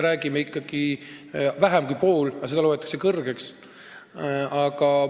No ikkagi vähem kui pool, aga seda peetakse suureks.